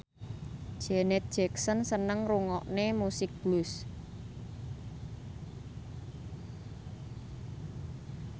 Janet Jackson seneng ngrungokne musik blues